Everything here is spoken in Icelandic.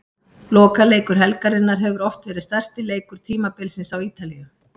Lokaleikur helgarinnar hefur oft verið stærsti leikur tímabilsins á Ítalíu.